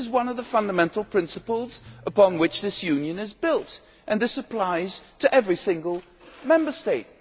This is one of the fundamental principles upon which this Union is built, and this applies to every single Member State.